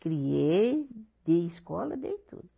Criei, dei escola, dei tudo